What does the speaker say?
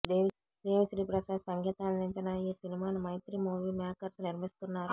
దేవి శ్రీ ప్రసాద్ సంగీతం అందించిన ఈ సినిమాను మైత్రి మూవీ మేకర్స్ నిర్మిస్తున్నారు